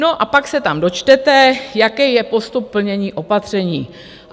No a pak se tam dočtete, jaký je postup plnění opatření.